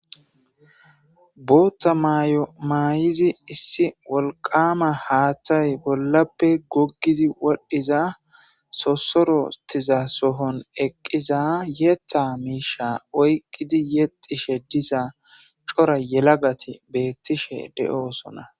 Bootta myomaayizi issi wolqama haaththay bollappe goggidi wodhdhiza sosorotiza sohon eqqiza yeeta miisha oyqqidi yexishe diza cora yelagati beettishe de'oosona.